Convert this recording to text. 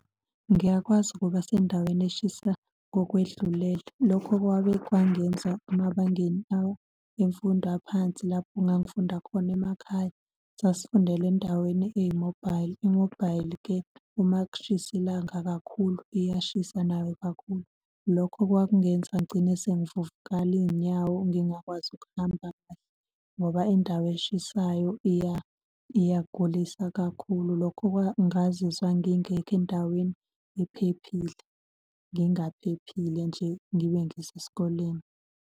Ngiyakwazi ukuba sendaweni eshisa ngokwedlulele. Lokho kwabe kwangenza emabangeni imfundo aphansi lapho engangifunda khona emakhaya. Sasifundela endaweni eyi-mobile. I-mobile-ke uma kushisa ilanga kakhulu iyashisa nayo kakhulu. Lokho kwakungenza ngigcine sengivuvukala iy'nyawo, ngingakwazi ukuhamba ngoba indawo eshisayo iyagulisa kakhulu lokho ngazizwa ngingekho endaweni ephephile, ngingaphephile nje ngibe ngiseskoleni.